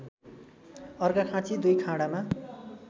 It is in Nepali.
अर्घाखाँची २ खाँडामा